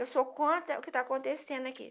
Eu sou contra o que está acontecendo aqui.